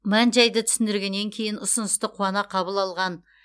мән жайды түсіндіргеннен кейін ұсынысты қуана қабыл алған